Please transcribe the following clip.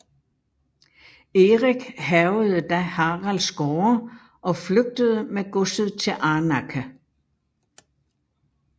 Erik hærgede da Haralds gårde og flygtede med godset til Arnakke